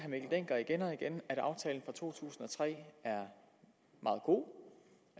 dencker igen og igen at aftalen fra to tusind og tre er meget god